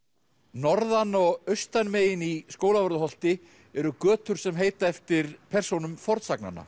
norðan og austan megin í Skólavörðuholti eru götur sem heita eftir persónum